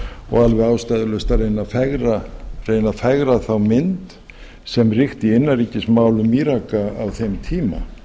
og alveg ástæðulaust að reyna að fegra þá mynd sem ríkti í innanríkismálum íraka á þeim tíma